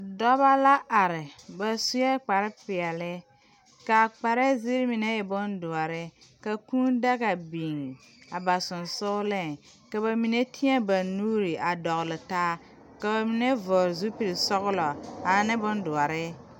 Dɔbɔ la are ba suee kparepeɛle ka kparɛɛ zeere mine e bondoɔre ka kūū daga biŋ a ba seŋsugliŋ ka ba mine teɛ ba nuure a dɔgle taa ka ba mine vɔgle zupilsɔglɔ ane bondoɔre.